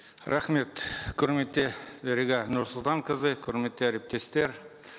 рахмет құрметті дариға нұрсұлтанқызы құрметті әріптестер